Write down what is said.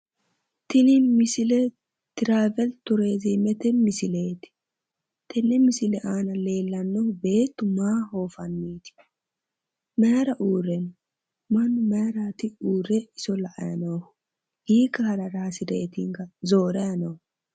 Tini misile trawelturzmete misileeti tenne misile aana leellannohu beettu maa oofanniiti mauira uurre no mannu mayirati iso la''anni noohu hiikka harara hasireetinka zoorayi noohu